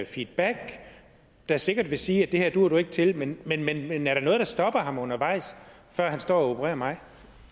feedback der sikkert vil sige at det her duer du ikke til men men er der noget der stopper ham undervejs før han står og opererer mig